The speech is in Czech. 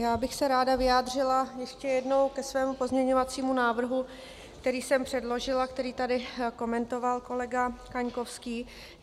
Já bych se ráda vyjádřila ještě jednou ke svému pozměňovacímu návrhu, který jsem předložila, který tady komentoval kolega Kaňkovský.